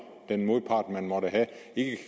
den modpart man måtte have ikke